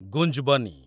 ଗୁଞ୍ଜ୍‌ବନୀ